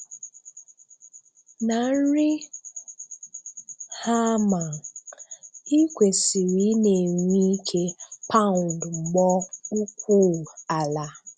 Na nri hámà, ị kwesì̀rị̀ ị na-enwe ìkè paụnd mbọ̀ ukwuu ala.